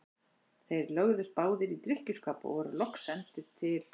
Þeir lögðust báðir í drykkjuskap og voru loks sendir til